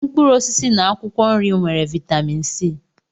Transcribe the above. mkpụrụ osisi na akwụkwọ nri nwere vitamin C.